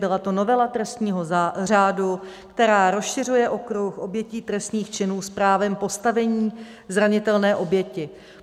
Byla to novela trestního řádu, která rozšiřuje okruh obětí trestných činů s právem postavení zranitelné oběti.